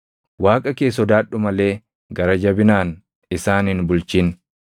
Waaqa kee sodaadhu malee gara jabinaan isaan hin bulchin.